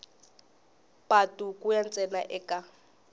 patu ku ya ntsena eka